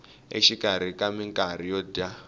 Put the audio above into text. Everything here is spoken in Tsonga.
exikarhi ka minkarhi yo dya